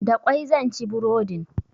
Da ƙwai zan ci burodin.